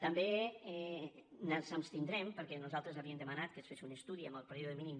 també ens abstindrem perquè nosaltres havíem dema·nat que es fes un estudi en el període mínim